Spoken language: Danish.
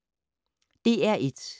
DR1